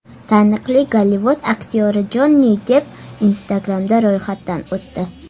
Taniqli Gollivud aktyori Jonni Depp Instagram’da ro‘yxatdan o‘tdi .